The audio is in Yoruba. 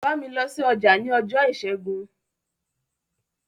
Bámi lọ sí ọjà ní ọjọ́ ìṣẹ́gun!